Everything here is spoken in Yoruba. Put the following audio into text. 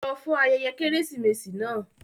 Lọ fún ayẹyẹ Kérésìmesì náà!